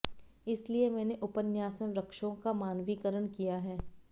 इसलिए मैंने उपन्यास में वृक्षों का मानवीकरण किया है